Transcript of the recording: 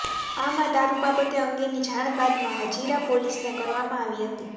આમ આ દારૂ બાબતે અંગેની જાણ બાદમાં હજીરા પોલીસને કરવામાં આવી હતી